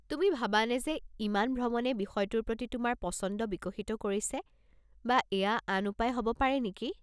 তুমি ভাবানে যে ইমান ভ্ৰমণে বিষয়টোৰ প্ৰতি তোমাৰ পচন্দ বিকশিত কৰিছে বা এয়া আন উপায় হ'ব পাৰে নেকি?